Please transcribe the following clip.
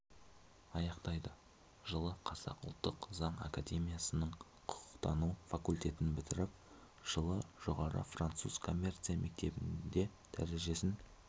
аяқтайды жылы қазақ ұлттық заң академиясының құқықтану факультетін бітіріп жылы жоғары француз коммерция мектебінде дәрежесін